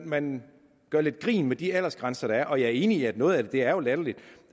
man gør lidt grin med de aldersgrænser der er og jeg er enig i at noget af det er latterligt